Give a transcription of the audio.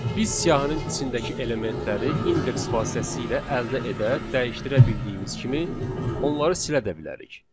Biz siyahinin içindəki elementləri indeks vasitəsilə əldə edə, dəyişdirə bildiyimiz kimi, onları silə də bilərik.